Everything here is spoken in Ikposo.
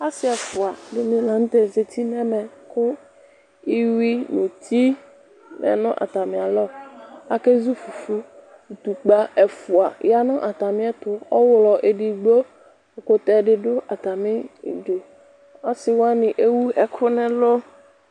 Asi ɛfuadini la zati nu ɛmɛ ku iɣui nu uti lɛ nu atamialɔ ake zu fufui itukpa ɛfua ya nu atamiɛtu ɔɣlɔ edigbo ɔsiwani ewu ɛku nu ɛlu